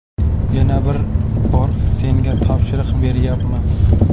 Yana bir bor senga topshiriq beryapman.